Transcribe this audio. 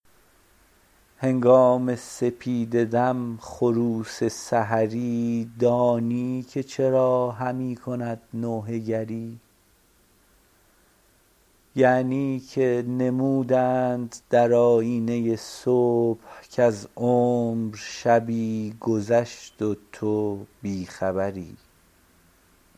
هنگام سپیده دم خروس سحری دانی که چرا همی کند نوحه گری یعنی که نمودند در آیینه صبح کز عمر شبی گذشت و تو بی خبری